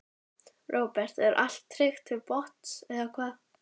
Róbert: Er allt tryggt til botns eða hvað?